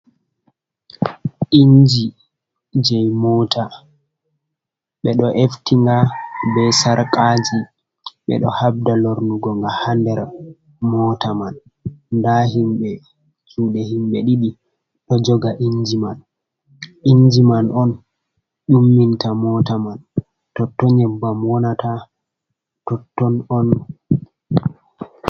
Inji je mota ɓe ɗo eftinga be sarkaji ɓe ɗo habda lornugo ga ha nder mota man, nda himɓe juɗe himbe ɗidi do joga inji man, inji man on umminta mota man, totton nyebbam wonata totton on.